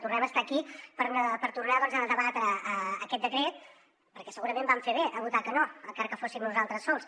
tornem a estar aquí per tornar a debatre aquest decret perquè segurament vam fer bé de votar que no encara que fóssim nosaltres sols